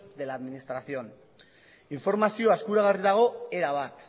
de la administración informazioa eskuragarri dago erabat